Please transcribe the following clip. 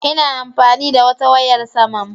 Ina amfani da wata wayar saman